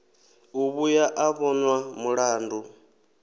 u vhuya a vhonwa mulandu